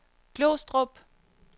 Glostrup